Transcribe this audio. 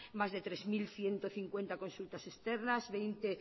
más de tres mil ciento cincuenta consultas externas veinte